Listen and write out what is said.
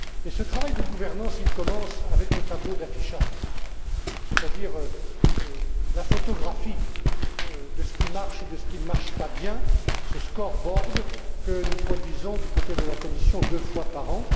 Ce travail de gouvernance commence avec le tableau d'affichage, c'est à dire la photographie de ce qui marche et de ce qui ne marche pas bien, ce Scoreboard que nous produisons du côté de la Commission deux fois par an.